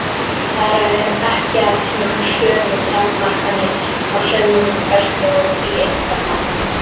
Þar er ekki að finna sömu takmarkanir á sönnunarfærslu og í einkamálum.